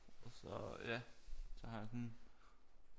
Så ja så har jeg sådan